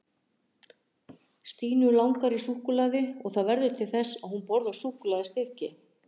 stínu langar í súkkulaði og það verður til þess að hún borðar súkkulaðistykki